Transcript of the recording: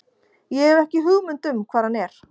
Ég hef ekki hugmynd um hvar hann er.